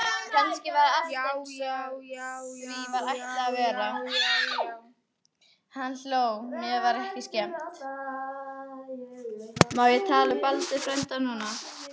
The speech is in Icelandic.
JÁ, JÁ, JÁ, JÁ, JÁ, JÁ, JÁ, JÁ.